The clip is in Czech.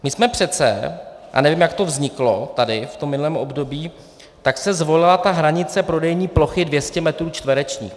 My jsme přece, a nevím, jak to vzniklo tady v tom minulém období - tak se zvolila ta hranice prodejní plochy 200 metrů čtverečných.